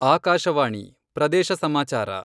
ಆಕಾಶವಾಣಿ, ಪ್ರದೇಶ ಸಮಾಚಾರ